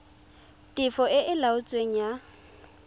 tefo e e laotsweng ya